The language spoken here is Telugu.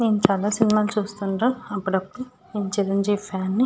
నేను చాలా సినిమా లు చూస్తుంటాను అప్పుడప్పుడు నేను చిరంజీవి ఫ్యాన్ ని.